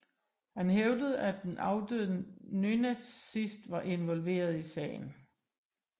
Han hævdede at en afdød nynazist var involveret i sagen